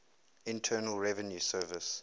internal revenue service